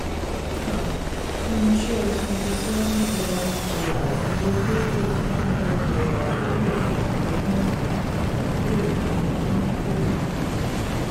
um irinṣẹ́ twenty seven thousand dollars iye tó kù: nine hundred dollars wúlò fún ọdún three. ọdún three